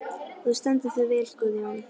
Þú stendur þig vel, Guðjón!